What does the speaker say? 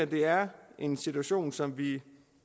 det her en situation som vi